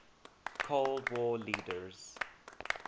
cold war leaders